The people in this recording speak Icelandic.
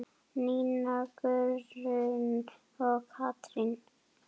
Nína Guðrún og Katrín.